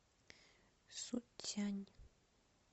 суцянь